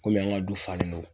an ka du falen no